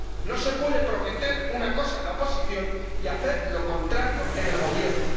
No se puede prometer una cosa en la oposición y hacer lo contrario en el gobierno.